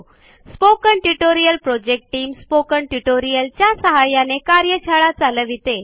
spoken tutorial project team spoken tutorial च्या सहाय्याने कार्यशाळा चालविते